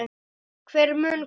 Hver mun koma?